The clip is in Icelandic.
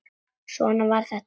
Svona var þetta alltaf.